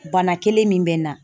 Bana kelen min bɛ n na.